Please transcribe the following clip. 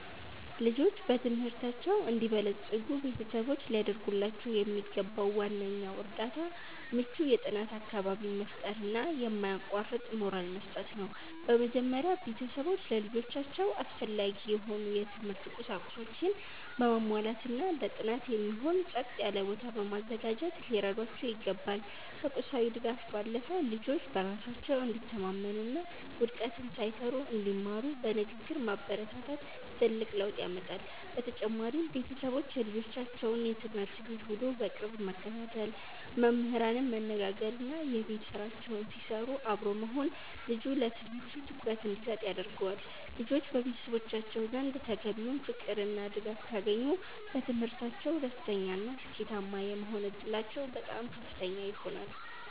ልጆች በትምህርታቸው እንዲበለጽጉ ቤተሰቦች ሊያደርጉላቸው የሚገባው ዋነኛው እርዳታ ምቹ የጥናት አካባቢን መፍጠርና የማያቋርጥ ሞራል መስጠት ነው። በመጀመሪያ፣ ቤተሰቦች ለልጆቻቸው አስፈላጊ የሆኑ የትምህርት ቁሳቁሶችን በማሟላትና ለጥናት የሚሆን ጸጥ ያለ ቦታ በማዘጋጀት ሊረዷቸው ይገባል። ከቁሳዊ ድጋፍ ባለፈ፣ ልጆች በራሳቸው እንዲተማመኑና ውድቀትን ሳይፈሩ እንዲማሩ በንግግር ማበረታታት ትልቅ ለውጥ ያመጣል። በተጨማሪም፣ ቤተሰቦች የልጆቻቸውን የትምህርት ቤት ውሎ በቅርብ መከታተል፣ መምህራንን ማነጋገርና የቤት ስራቸውን ሲሰሩ አብሮ መሆን ልጁ ለትምህርቱ ትኩረት እንዲሰጥ ያደርገዋል። ልጆች በቤተሰቦቻቸው ዘንድ ተገቢውን ፍቅርና ድጋፍ ካገኙ፣ በትምህርታቸው ደስተኛና ስኬታማ የመሆን ዕድላቸው በጣም ከፍተኛ ይሆናል።